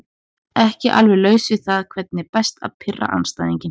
Nei alveg laus við það Hvernig er best að pirra andstæðinginn?